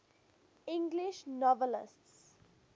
english novelists